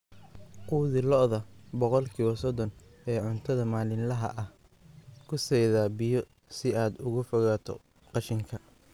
Quudi lo'da ilaa boqolkiba sodon ee cuntada maalinlaha ah; ku saydhaa biyo si aad uga fogaato qashinka